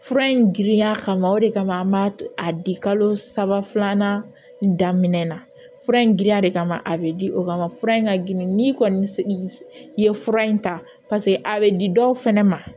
Fura in girinya kama o de kama an b'a a di kalo saba filanan daminɛ fura in giriya de kama a bɛ di o kama fura in ka girin n'i kɔni ye fura in ta a bɛ di dɔw fɛnɛ ma